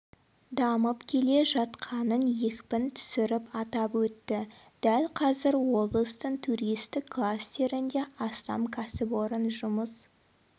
дамып келе жатқанын екпін түсіріп атап өтті дәл қазір облыстың туристік кластерінде астам кәсіпорын жұмыс